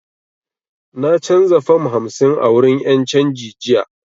Na canza fam hamsin a wurin 'yan canji jiya